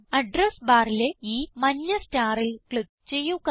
address ബാറിലെ ഈ മഞ്ഞ starൽ ക്ലിക്ക് ചെയ്യുക